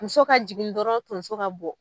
Muso ka jigin dɔrɔn tonso ka bɔ